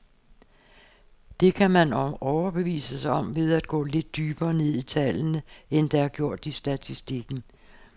Det kan man overbevise sig om ved at gå lidt dybere ned i tallene, end der er gjort i statistikken.